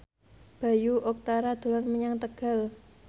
Bayu Octara dolan menyang Tegal